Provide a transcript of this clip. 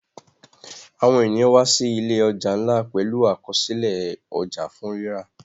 Àwọn ènìyàn wá sí ìlé ọja nlá pẹlú Àkọsílẹ̀ ọjà fún rírà.